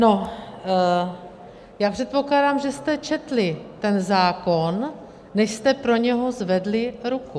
No já předpokládám, že jste četli ten zákon, než jste pro něj zvedli ruku.